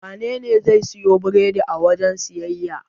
Wanene zai siyo biredi a wajen siyayya?